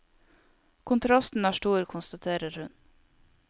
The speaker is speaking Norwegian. Kontrasten er stor, konstaterer hun.